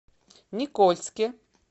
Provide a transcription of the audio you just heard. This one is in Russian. никольске